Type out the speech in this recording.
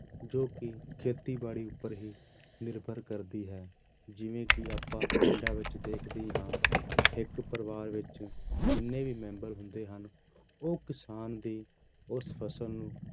ਜੋ ਕਿ ਖੇਤੀਬਾੜੀ ਉੱਪਰ ਹੀ ਨਿਰਭਰ ਕਰਦੀ ਹੈ, ਜਿਵੇਂ ਕਿ ਆਪਾਂ ਵਿੱਚ ਦੇਖਦੇ ਹੀ ਹਾਂ ਇੱਕ ਪਰਿਵਾਰ ਵਿੱਚ ਜਿੰਨੇ ਵੀ ਮੈਂਬਰ ਹੁੰਦੇ ਹਨ, ਉਹ ਕਿਸਾਨ ਦੀ ਉਸ ਫ਼ਸਲ ਨੂੰ